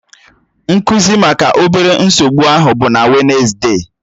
Nkụzi maka obere nsogbu ahụ bụ na Wednesde